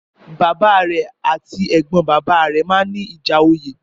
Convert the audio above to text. Bàbá rẹ̀ àti Ẹ̀gbọ́n bàbá rẹ̀ máa ń ní ìjà oyè